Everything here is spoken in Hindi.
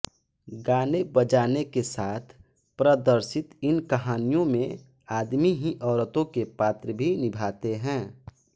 गानेबजाने के साथ प्रदर्शित इन कहानियों में आदमी ही औरतों के पात्र भी निभाते हैं